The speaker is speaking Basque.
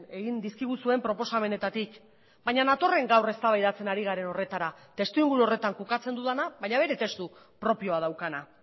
egin dizkiguzuen proposamenetatik baina natorren gaur eztabaidatzen ari garen horretara testuinguru horretan kokatzen dudana baina bere testu propioa daukana